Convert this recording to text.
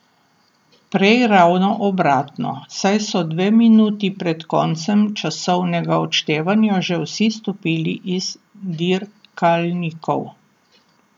Prej ravno obratno, saj so dve minuti pred koncem časovnega odštevanja že vsi stopili iz dirkalnikov.